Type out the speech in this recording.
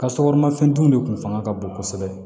Ka sukaro mafɛntigiw de tun fanga ka bon kosɛbɛ